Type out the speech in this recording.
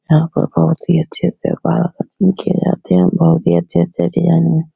यहाँ पर बहुत ही अच्छे से किये जाते है बहुत ही अच्छे से डिजाइन --